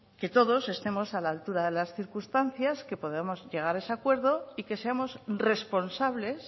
que todos estemos a la altura de las circunstancias que podamos llegar a ese acuerdo y que seamos responsables